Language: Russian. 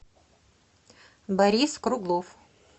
борис круглов